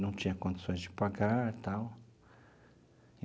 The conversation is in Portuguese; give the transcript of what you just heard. Não tinha condições de pagar e tal.